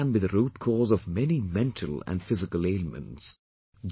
Depression can be the root cause of many mental and physical ailments